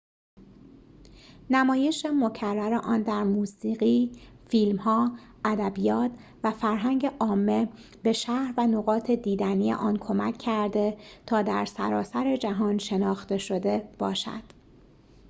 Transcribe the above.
نمایش مکرر آن در موسیقی فیلم‌ها ادبیات و فرهنگ عامه به شهر و نقاط دیدنی آن کمک کرده تا در سراسر جهان شناخته شده باشد